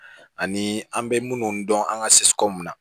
Ani an bɛ minnu dɔn an ka na